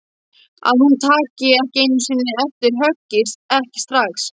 Að hún taki ekki einu sinni eftir höggi, ekki strax.